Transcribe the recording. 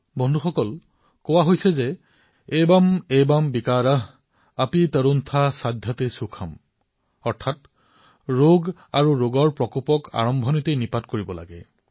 বন্ধুসকল আমাৰ ইয়াক কোৱা হয় এবম এবম বিকাৰঃ অপী তৰুনহা সাধ্যতে সুখম অৰ্থাৎ ৰোগ আৰু ৰোগৰ প্ৰকোপৰ পৰা আৰম্ভণীতেই মোকাবিলা কৰিব লাগে